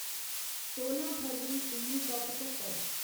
सोलां फरवरी उन्नी सौ पच्चतर